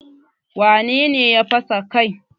Wane ne ya fasa kai?